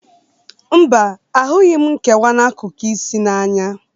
Mba, ahụrụghi m nkewa n'akụkụ asị na Anya.